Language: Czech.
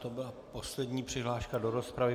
To byla poslední přihláška do rozpravy.